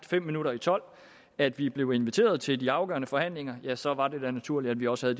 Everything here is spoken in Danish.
fem minutter i tolv at vi blev inviteret til de afgørende forhandlinger ja så var det da naturligt at vi også